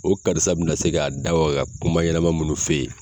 O karisa be na se k'a da waga ka kuma ɲɛnɛma munnu f'e ye